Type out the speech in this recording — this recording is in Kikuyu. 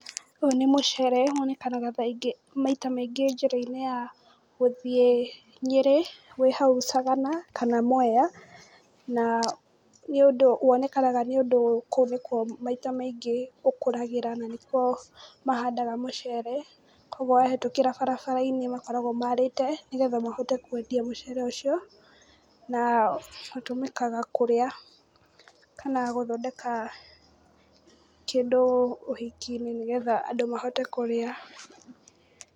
Ũyũ nĩ mũcere na kaingĩ wonekanaga njĩrainĩ ya gũthiĩ na Nyeri, wonekanaga hau Sagana kana Mwea, na nĩ ũndũ, wonekanaga nĩ ũndũ kaingĩ kũu nĩ kuo maita maingĩ ũkũragĩra na nĩkuo mahandaga mũcere kwoguo wahetũkĩra barabara-inĩ makoragwo marĩte nĩguo mũndũ ahote kwendia na ũtũmĩkaga kũrĩa kana gũthondeka kĩndũ ũhiki-inĩ nĩguo andũ mahote kũrĩa.